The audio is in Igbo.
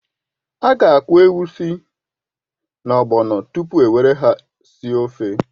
A ga-akwọ egusi na ogbọno tupu e were ha sie ofe.